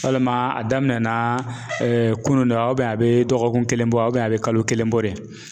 Walima a daminɛ na kunun no wa a bɛ dɔgɔkun kelen bɔ wa a bɛ kalo kelen bɔ de .